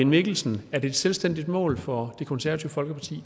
mikkelsen er det et selvstændigt mål for det konservative folkeparti